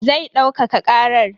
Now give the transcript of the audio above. Zai daukaka karar.